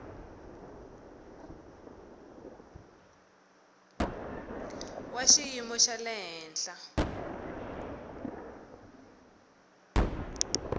wa xiyimo xa le henhla